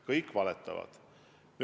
Kõik valetavad!